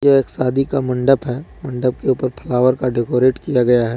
यह एक शादी का मंडप है मंडप के ऊपर फ्लावर का डेकोरेट किया गया है।